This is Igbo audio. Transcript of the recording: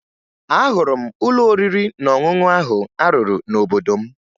Ahụrụ m ụlọ oriri na ọṅụṅụ ahụ a rụrụ n'obodo m